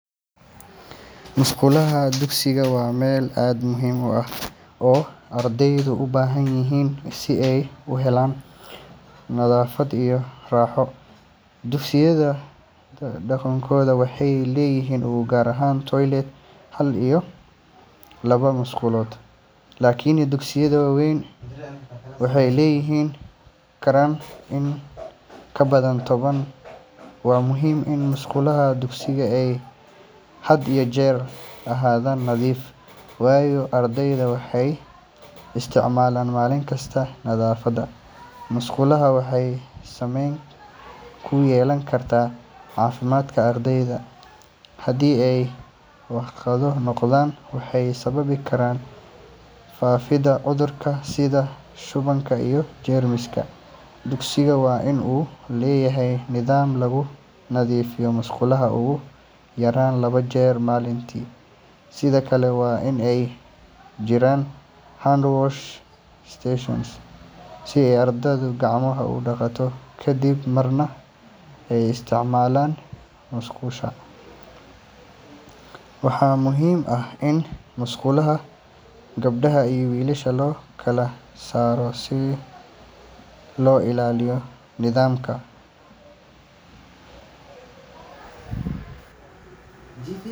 Musqulaha dugsigu waa meel aad muhiim u ah oo ardaydu u baahan yihiin si ay u helaan nadaafad iyo raaxo. Dugsiyada badankood waxay leeyihiin ugu yaraan toilet hal iyo laba musqulood, laakiin dugsiyada waaweyn waxay yeelan karaan in ka badan toban. Waa muhiim in musqulaha dugsiga ay had iyo jeer ahaadaan nadiif, waayo ardayda waxay isticmaalaan maalin kasta. Nadaafadda musqulaha waxay saameyn ku yeelan kartaa caafimaadka ardayda. Haddii ay wasakho noqdaan, waxay sababi karaan faafidda cudurro sida shubanka iyo jeermiska. Dugsigu waa in uu leeyahay nidaam lagu nadiifiyo musqulaha ugu yaraan laba jeer maalintii. Sidoo kale, waa in ay jiraan hand wash stations si ardaydu gacmaha u dhaqdaan kadib marka ay isticmaalaan musqusha. Waxaa muhiim ah in musqulaha gabdhaha iyo wiilasha loo kala saaro, si loo ila.